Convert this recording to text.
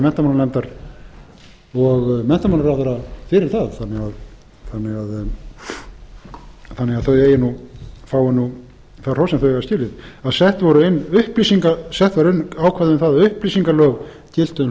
menntamálanefndar og menntamálaráðherra fyrir það þannig að þau fái nú það hrós sem þau eiga skilið að sett voru inn ákvæði um það að upplýsingalög giltu um hlutafélagið það er